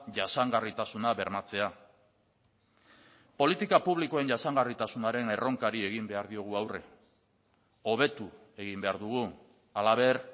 jasangarritasuna bermatzea politika publikoen jasangarritasunaren erronkari egin behar diogu aurre hobetu egin behar dugu halaber